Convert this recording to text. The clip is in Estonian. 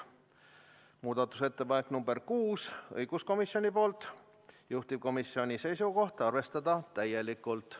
Muudatusettepanek nr 6, samuti õiguskomisjonilt, juhtivkomisjoni seisukoht: arvestada täielikult.